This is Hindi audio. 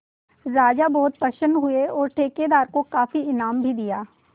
राजा बहुत प्रसन्न हुए और ठेकेदार को काफी इनाम भी दिया